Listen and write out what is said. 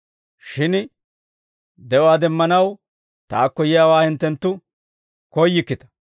Shin de'uwaa demmanaw taakko yiyaawaa hinttenttu koyyikkita.